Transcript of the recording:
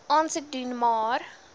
aansoek doen maar